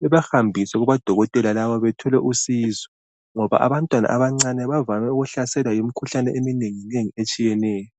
bebahambise kubodokotela labo bathole usizo ngoba abantwana abantwana abancane bavame ukuhlaselwa yimikhuhlane eminenginengi etshiyeneyo.